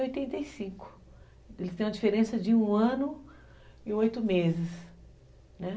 Em oitenta e cinco. Eles têm uma diferença de um ano e oito meses, né.